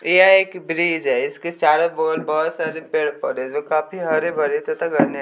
यह एक ब्रिज है इसके चारों बगल बहोत सारे पेड़ पौधे है जो काफी हरे भरे तथा घने--